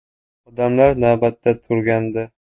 Odamlar navbatda turgandi.